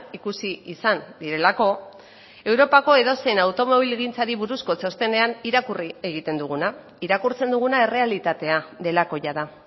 ikusi izan direlako europako edozein automobilgintzari buruzko txostenean irakurri egiten duguna irakurtzen duguna errealitatea delako jada